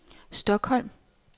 Stockholm